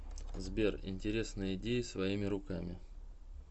сбер интересные идеи своими руками